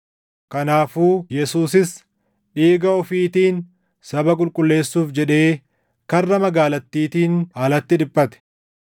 Kanaafuu Yesuusis dhiiga ofiitiin saba qulqulleessuuf jedhee karra magaalattiitiin alatti dhiphate.